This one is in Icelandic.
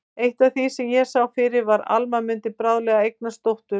Eitt af því sem ég sá fyrir var að Alma mundi bráðlega eignast dóttur.